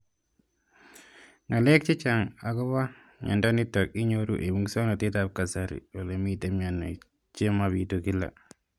Ng'alek chechang' akopo miondo nitok inyoru eng' muswog'natet ab kasari ole mito mianwek che mapitu kila